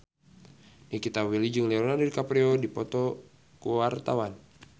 Nikita Willy jeung Leonardo DiCaprio keur dipoto ku wartawan